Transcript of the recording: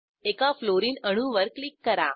एका फ्लोरीन अणूवर क्लिक करा